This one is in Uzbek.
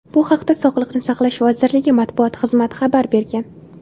Bu haqda Sog‘liqni saqlash vazirligi matbuot xizmati xabar bergan.